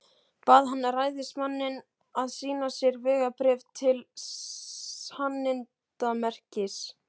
Bað hann ræðismanninn að sýna sér vegabréf til sannindamerkis.